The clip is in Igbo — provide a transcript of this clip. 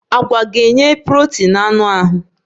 Agwa ga-enye protin na anụ ahụ.